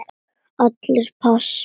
Allir pass.